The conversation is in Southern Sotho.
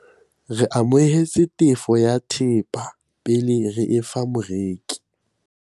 re amohetse tefo ya thepa pele re e fa moreki